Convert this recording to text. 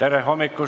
Ahoi!